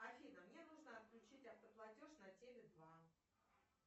афина мне нужно отключить автоплатеж на теле два